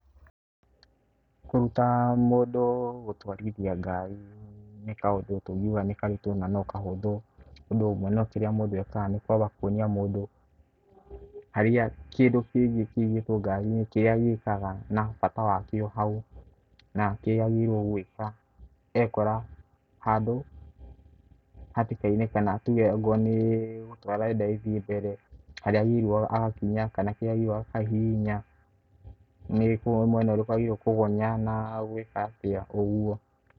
Kũruta mũndũ gũtwarithia ngari nĩ kaũndũ tũngiuga nĩ karitũ na no kahũthũ. Tondũ mũno kirĩa mũndũ ekaga nĩ kwambia kuonia mũndũ harĩ kĩndũ kĩndũ kĩigĩtwo ngari-inĩ, kĩrĩa gĩkaga na bata wakĩo hau. Na kĩrĩa agĩrĩirwo gwĩka ekora handũ hatĩka-inĩ kana tuge akorwo nĩ gũtwara arenda ĩthiĩ mbere harĩa agĩrĩirwo agakinya kana kĩrĩa agĩrĩirwo akahihinya. Nĩ mwena ũrĩkũ agĩrĩirwo kũgonya na gwĩka atĩa, ũguo.